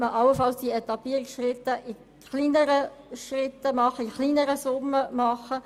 Man könnte so die Etappierung in kleineren Schritten, das heisst, mit kleineren Summen, vornehmen.